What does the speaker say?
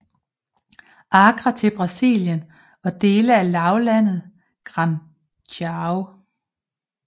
Acre til Brasilien og dele af lavlandet Gran Chaco